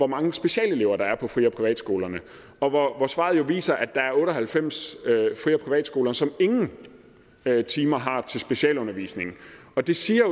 mange specialelever der er på fri og privatskolerne og svaret viser jo at der er otte og halvfems fri og privatskoler som ingen timer har til specialundervisning det siger